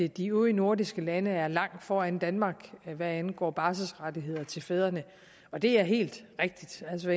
de øvrige nordiske lande er langt foran danmark hvad angår barselsrettigheder til fædrene og det er helt rigtigt altså